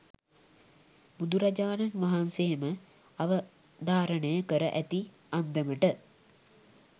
බුදුරජාණන් වහන්සේ ම අවධාරණය කර ඇති අන්දමට,